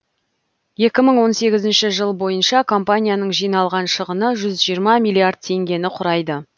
екі мың он сегізінші жыл бойынша компанияның жиналған шығыны жүз жиырма миллиард теңгені құрайды